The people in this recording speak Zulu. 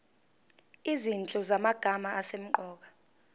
izinhlu zamagama asemqoka